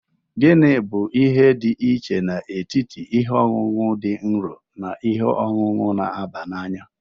Gini bu ihe dị iche n'etiti ihe ọṅụṅụ dị nro na ihe ọṅụṅụ na-aba n'anya?